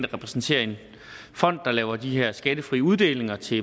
repræsenterer en fond der laver de her skattefrie uddelinger til